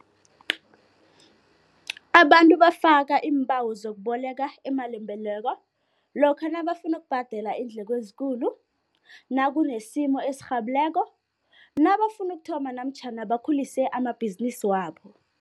Abantu bafaka iimbawo zokuboleka imalimboleko lokha nabafuna ukubhadela iindleko ezikulu, nakunesimo esirhabileko, nabafuna ukuthoma namtjhana bakhulise amabhizinisi wabo.